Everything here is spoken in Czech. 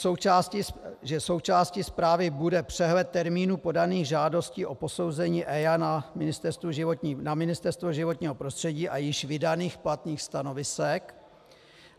Součástí zprávy bude přehled termínů podaných žádostí o posouzení EIA na Ministerstvo životního prostředí a již vydaných platných stanovisek.